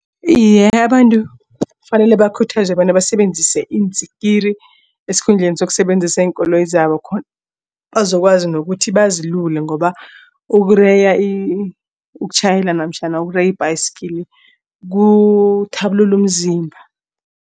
Iye, abantu kufanele bakhuthazwe bona basebenzise iintsiki esikhundleni zokusebenzisa iinkoloyi zabo khona bazokwazi nokuthi bazilule ngoba ukureya ukutjhayela ibhayisikili kuthabulula umzimba.